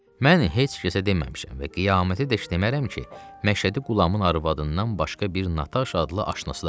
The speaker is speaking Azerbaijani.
Mən heç kəsə deməmişəm və qiyamətədək demərəm ki, Məşədi Qulamın arvadından başqa bir Nataşa adlı aşnası da var.